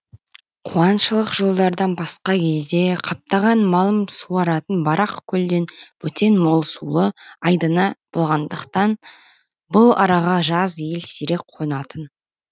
қуаңшылық жылдардан басқа кезде қаптаған малым суаратын барақ көлден бөтен мол сулы айдыны болмағандықтан бұл араға жаз ел сирек қонатын